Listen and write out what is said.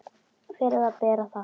Fyrir það ber að þakka.